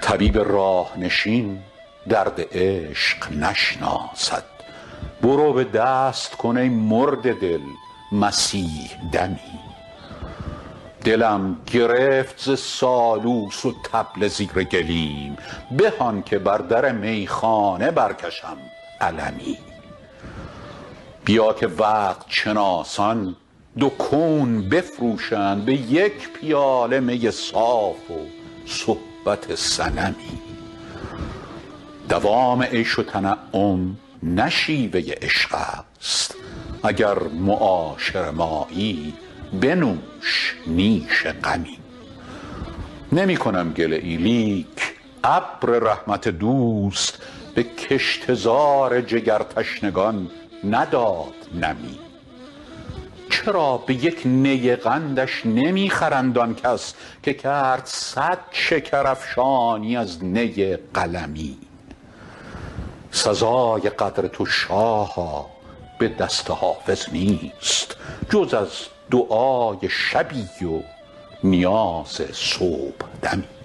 طبیب راه نشین درد عشق نشناسد برو به دست کن ای مرده دل مسیح دمی دلم گرفت ز سالوس و طبل زیر گلیم به آن که بر در میخانه برکشم علمی بیا که وقت شناسان دو کون بفروشند به یک پیاله می صاف و صحبت صنمی دوام عیش و تنعم نه شیوه عشق است اگر معاشر مایی بنوش نیش غمی نمی کنم گله ای لیک ابر رحمت دوست به کشته زار جگرتشنگان نداد نمی چرا به یک نی قندش نمی خرند آن کس که کرد صد شکرافشانی از نی قلمی سزای قدر تو شاها به دست حافظ نیست جز از دعای شبی و نیاز صبحدمی